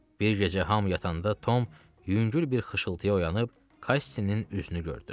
Bir gecə hamı yatanda Tom yüngül bir xışıltıya oyanıb Kassinin üzünü gördü.